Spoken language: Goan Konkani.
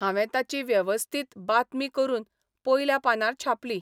हावें ताची वेवस्थीत बातमी करून पयल्या पानार छापली.